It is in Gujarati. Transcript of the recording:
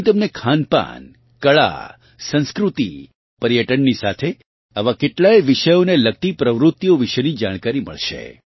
અંહી તમને ખાનપાન કળા સંસ્કૃતિ પર્યટનની સાથે આવાં કેટલાંય વિષયોને લગતી પ્રવૃતિઓ વિશેની જાણકારી મળશે